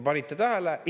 Panite tähele?